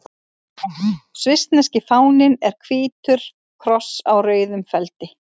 Svissneski fáninn er hvítur kross á rauðum feldi.